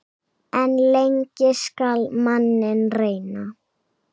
En lengi skal manninn reyna.